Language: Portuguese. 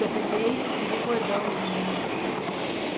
Eu peguei e fiz um cordão de meninas assim.